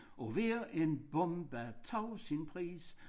Og hver en bombe tog sin pris